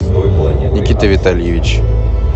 никита витальевич